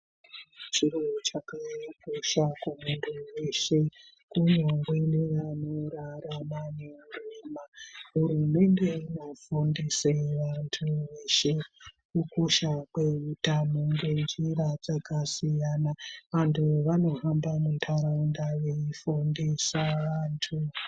Chiro chakakosha kumuntu weshe kunyangwe nevanorarama nehurema. Hurumende inofundise vantu veshe kukosha kweutano ngenjira dzakasiyana. Antu vanohamba muntaraunda veifundisa vantu.